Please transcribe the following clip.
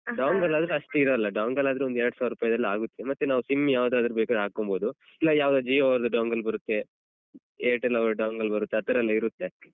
ಆದ್ರೆ ಅಷ್ಟು ಇರಲ್ಲ dongle ಆದ್ರೆ ಒಂದ್ ಎರಡು ಸಾವಿರ ರೂಪಾಯಲಾಗುತ್ತೆ ಮತ್ತೆ ನಾವು sim ಯಾವ್ದಾದ್ರು ಬೇಕಾದ್ರು ಹಾಕೊಂಬೋದು ಇಲ್ಲ ಯಾವ್ದಾದ್ರು jio ಎಲ್ಲ dongle ಬರುತ್ತೆ airtel ಅವರ dongle ಬರುತ್ತೆ ಆತರಯೆಲ್ಲ ಇರುತ್ತೆ.